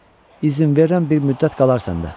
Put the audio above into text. İzin verirəm bir müddət qalar səndə.